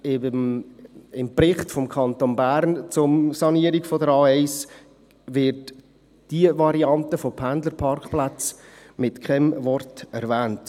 Im Bericht des Kantons Bern zur Sanierung der A1 wird diese Variante von Pendlerparkplätzen mit keinem Wort erwähnt.